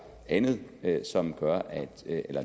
andet som